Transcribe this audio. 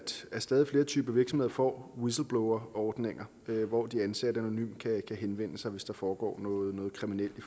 stadig flere typer af virksomheder får whistleblowerordninger hvor de ansatte anonymt kan henvende sig hvis der foregår noget kriminelt i